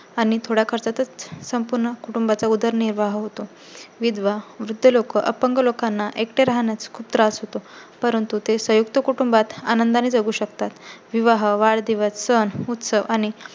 आणि थोड्या खर्चातच संपूर्ण कुटुंबाचा उदरनिर्वाह होतो. विधवा, वृद्ध लोक, अपंग लोकांना एकटे राहण्या चा खूप त्रास होतो. परंतु ते संयुक्त कुटुंबात आनंदा ने जगू शकतात. विवाह, वाढदिवस, सण, उत्सव आणि